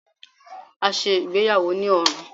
A ṣe igbeyawo ni ọrun